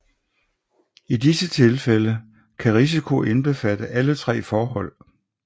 I disse tilfælde kan risiko indbefatte alle tre forhold